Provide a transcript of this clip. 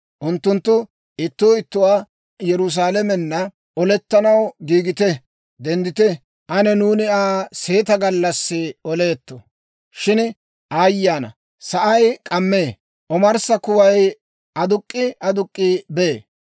Unttunttu ittuu ittuwaa, ‹Yerusaalamenna olettanaw giigite! Denddite! Ane nuuni Aa seeta gallassi oleetto. Shin aayye ana! Sa'ay k'ammee; omarssa kuway aduk'k'i aduk'k'i bee.